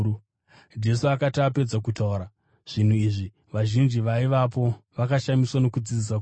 Jesu akati apedza kutaura zvinhu izvi vazhinji vaivapo vakashamiswa nokudzidzisa kwake,